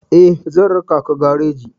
Eh, zan raka ka gareji.